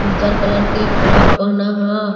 उजर कलर के फ्रॉक पहना हअ।